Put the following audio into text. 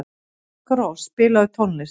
Daggrós, spilaðu tónlist.